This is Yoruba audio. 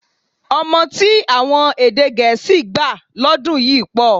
Ọmọ tí àwọn èdè gẹ̀ẹ́sì gbà lọ́dún yìí pọ̀